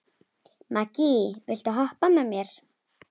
Maggý, viltu hoppa með mér?